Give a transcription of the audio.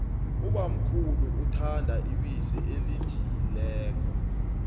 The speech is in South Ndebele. ubamkhulu uthanda ibisi elijiyileko